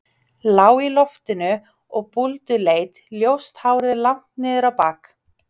Lág í loftinu og búlduleit, ljóst hárið langt niður á bak.